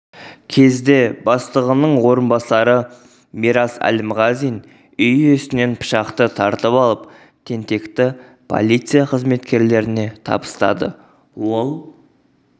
кезде бастығының орынбасары мирас әлімғазин үй иесінен пышақты тартып алып тентекті полиция қызметкерлеріне табыстады ол